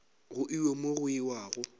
go iwe mo go iwago